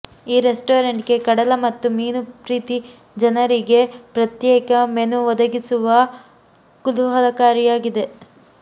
ಈ ರೆಸ್ಟೋರೆಂಟ್ಗೆ ಕಡಲ ಮತ್ತು ಮೀನು ಪ್ರೀತಿ ಜನರಿಗೆ ಪ್ರತ್ಯೇಕ ಮೆನು ಒದಗಿಸುವ ಕುತೂಹಲಕಾರಿಯಾಗಿದೆ